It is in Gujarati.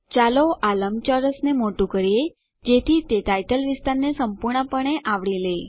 ચાલો આ લંબચોરસને મોટું કરીએ જેથી તે ટાઇટલ વિસ્તારને સંપૂર્ણપણે આવરી લે